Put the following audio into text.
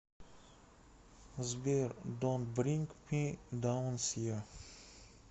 сбер донт бринг ми даун сиа